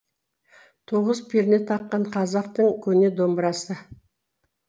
тоғыз перне таққан қазақтың көне домбырасы